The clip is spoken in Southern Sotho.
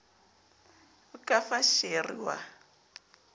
o ka fa sheri wa